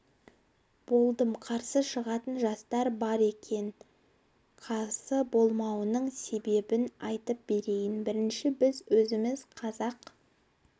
болдым қарсы шығатын жастар бар екен қарсы болуының себебін айтып берейін бірінші біз өзіміз қазақ